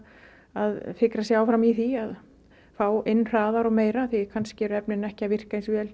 að fikra sig áfram í því að fá inn hraðar og meira því kannski eru efnin ekki að virka eins vel